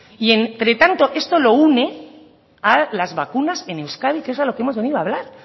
y entretanto esto lo une a las vacunas en euskadi que es a lo que hemos venido a hablar